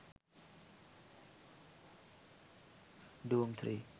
dhoom 3